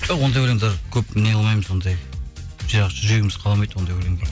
ондай өлеңдер көп неғылмаймыз ондай жүрегіміз қаламайды ондай өлеңді